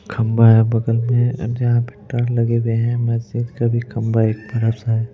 खंबा है बगल में जहां पे टर लगे हुए हैं मस्जिद का भी खंबा एक बड़ा सा है।